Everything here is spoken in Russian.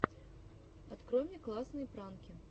открой мне классные пранки